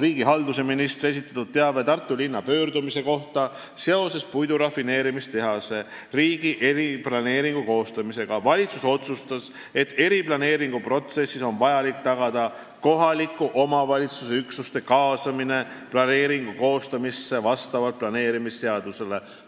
riigihalduse ministri esitatud teabe Tartu linna pöördumise kohta seoses puidurafineerimistehase riigi eriplaneeringu koostamisega ning otsustas, et eriplaneeringu protsessis on vaja tagada kohaliku omavalitsuse üksuste kaasamine planeeringu koostamisse vastavalt planeerimisseadusele.